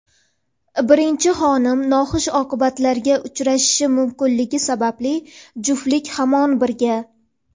Birinchi xonim noxush oqibatlarga uchrashi mumkinligi sababli juftlik hamon birga.